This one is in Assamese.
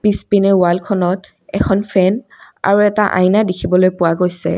পিছপিনে ওৱালখনত এখন ফেন আৰু এটা আইনা দেখিবলৈ পোৱা গৈছে।